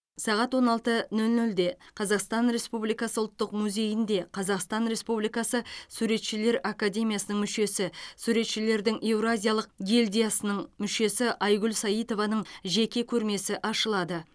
сағат он алты нөл нөлде қазақстан республикасы ұлттық музейінде қазақстан республикасы суретшілер академиясының мүшесі суретшілердің еуразиялық гильдиясының мүшесі айгүл саитованың жеке көрмесі ашылады